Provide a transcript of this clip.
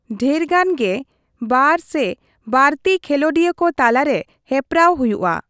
ᱰᱷᱮᱨᱜᱟᱱ ᱜᱮ ᱵᱟᱨ ᱥᱮ ᱵᱟᱹᱲᱛᱤ ᱠᱷᱮᱞᱚᱸᱰᱤᱭᱟᱹ ᱠᱚ ᱛᱟᱞᱟᱨᱮ ᱦᱮᱯᱨᱟᱣ ᱦᱩᱭᱩᱜᱼᱟ ᱾